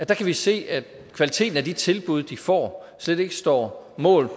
kan vi se at kvaliteten af de tilbud de får slet ikke står mål